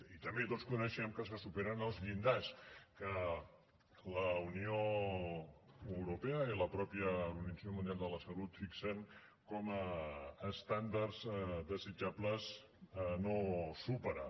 i també tots coneixem que se superen els llindars que la unió europea i la mateixa organització mundial de la salut fixen com a estàndards desitjables a no superar